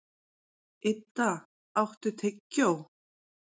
Idda, áttu tyggjó?